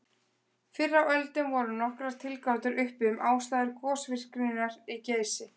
Fyrr á öldum voru nokkrar tilgátur uppi um ástæður gosvirkninnar í Geysi.